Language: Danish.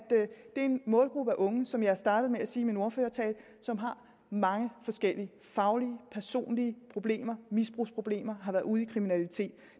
en målgruppe af unge som jeg startede med at sige min ordførertale som har mange forskellige faglige og personlige problemer misbrugsproblemer har været ude i kriminalitet